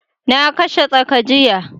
Na kashe tsaka jiya